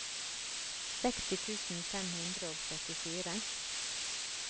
seksti tusen fem hundre og syttifire